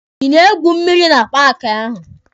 Ị na-egwu mmịrị na paaki ahụ?